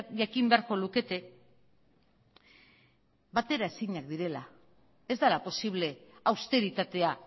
jakin beharko lukete bateraezinak direla ez dela posible austeritatea